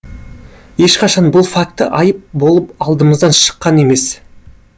ешқашан бұл факті айып болып алдымыздан шыққан емес